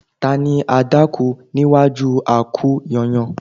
Ta ni adákú níwájú a-kú-yányán